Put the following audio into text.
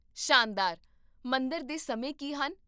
ਸ਼ਾਨਦਾਰ, ਮੰਦਰ ਦੇ ਸਮੇਂ ਕੀ ਹਨ?